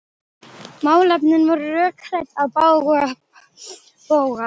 Málefnin voru rökrædd á bága bóga.